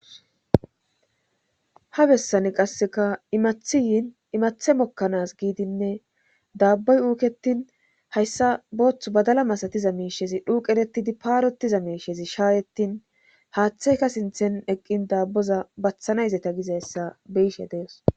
ha bessani qasseka imathiyiin imathe mokkanas giidinne daabboy uuketin hayssa booththu badala masatiza meeshezi dhuuqeretidi paarotiza meeshezi shaayettin haaththeyka sinthen eqqin daabboza bathanayzeta gizayssa beyishe dees